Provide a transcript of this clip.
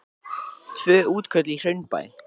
Tvö útköll í Hraunbæ